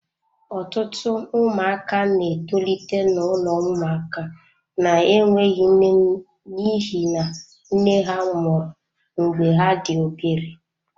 Ọtụtụ ụmụaka na-etolite n'ụlọ ụmụaka na-enweghị nne n'ihi na nne ha nwụrụ mgbe ha dị obere.